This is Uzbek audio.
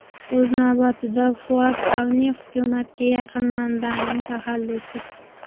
O‘z navbatida, Fuat Avni hukumatga yaqin manbaning taxallusi.